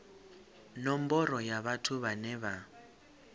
nomboro ya vhathu vhane vha